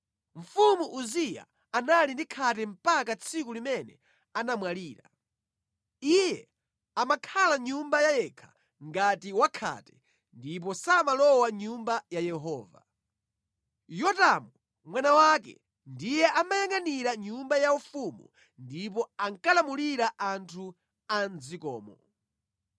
Mfumu Uziya anali ndi khate mpaka tsiku limene anamwalira. Iye amakhala mʼnyumba ya yekha ngati wakhate, ndipo samalowa mʼNyumba ya Yehova. Yotamu mwana wake ndiye amayangʼanira nyumba yaufumu ndipo ankalamulira anthu a mʼdzikomo.